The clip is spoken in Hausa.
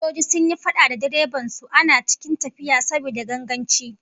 Fasinjoji sun yi fada da direban su ana cikin tafiya, saboda ganganci